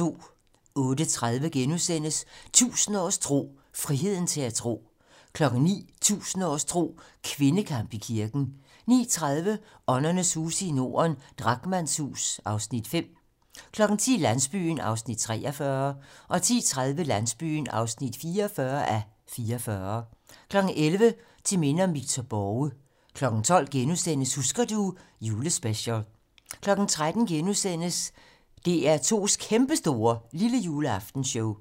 08:30: 1000 års tro: Friheden til at tro * 09:00: 1000 års tro: Kvindekamp i kirken 09:30: Åndernes huse i Norden - Drachmanns hus (Afs. 5) 10:00: Landsbyen (43:44) 10:30: Landsbyen (44:44) 11:00: Til minde om Victor Borge 12:00: Husker du ... julespecial * 13:00: DR2's kæmpestore lillejuleaftenshow